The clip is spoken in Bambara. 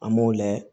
An b'o layɛ